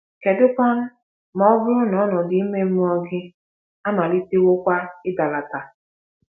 Kedukwanụ ma ọ bụrụ na ọnọdụ ime mmụọ gị amalitewokwa ịdalata?